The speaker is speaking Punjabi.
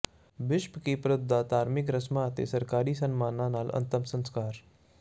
ਬਿਸ਼ਪ ਕੀਪਰਥ ਦਾ ਧਾਰਮਿਕ ਰਸਮਾਂ ਤੇ ਸਰਕਾਰੀ ਸਨਮਾਨਾਂ ਨਾਲ ਅੰਤਮ ਸੰਸਕਾਰ